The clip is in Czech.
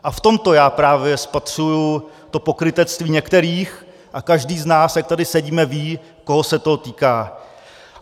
A v tomto já právě spatřuji to pokrytectví některých a každý z nás, jak tady sedíme, ví, koho se to týká.